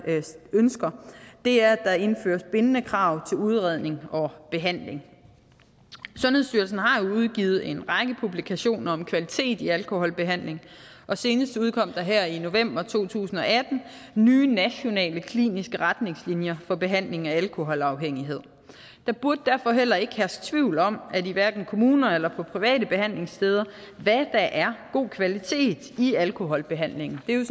ønsker er at der indføres bindende krav til udredning og behandling sundhedsstyrelsen har jo udgivet en række publikationer om kvalitet i alkoholbehandling og senest udkom der her i november to tusind og atten nye nationale kliniske retningslinjer for behandling af alkoholafhængighed der burde derfor heller ikke herske tvivl om hverken i kommuner eller på private behandlingssteder hvad der er god kvalitet i alkoholbehandlingen det er